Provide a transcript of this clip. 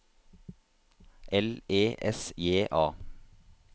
L E S J A